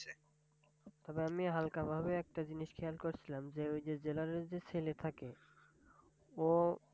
তবে আমি হাল্কাভাবে একটা জিনিস খেয়াল করসিলাম, যে ওই যে জেলারের যে সেলে থাকে ও